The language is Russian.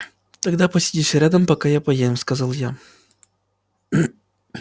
тогда посидишь рядом пока я поем сказал я